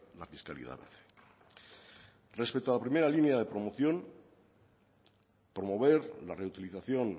la fiscalidad verde respecto a la primera línea de promoción promover la reutilización